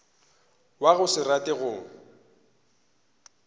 wa go se rate go